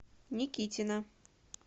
никитина